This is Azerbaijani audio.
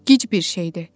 Gic bir şeydir.